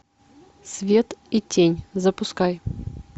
свет и тень запускай